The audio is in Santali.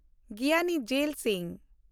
ᱜᱤᱭᱟᱱᱤ ᱡᱮᱞ ᱥᱤᱝ